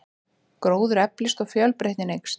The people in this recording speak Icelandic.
Gróður eflist og fjölbreytnin eykst.